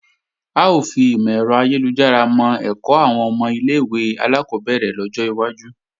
A ó fi ìmò-ẹ̀rọ ayélujára mọ́ ẹ̀kọ́ àwọn ọmọ ilé-ìwé alákọ́bẹ̀rẹ̀ lọ́jọ́ iwájú